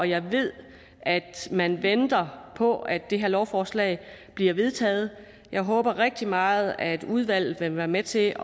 jeg ved at man venter på at det her lovforslag bliver vedtaget jeg håber rigtig meget at udvalget vil være med til